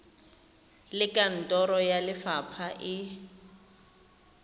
le kantoro ya lefapha e